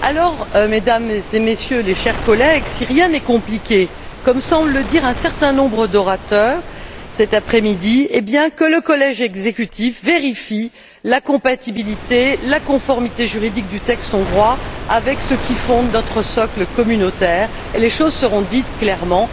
Alors, Mesdames et Messieurs, chers collègues, si rien n'est compliqué comme semblent le dire un certain nombre d'orateurs cet après midi eh bien que le collège exécutif vérifie la compatibilité, la conformité juridique du texte hongrois avec ce qui fonde notre socle communautaire, et les choses seront dites clairement.